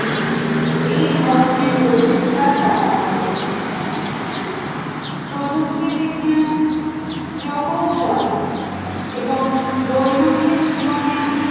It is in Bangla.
এই ধরনের প্রচেষ্টার ফলাফল প্রযুক্তি বিজ্ঞান প্রকৌশল এবং দৈনন্দিন জীবনে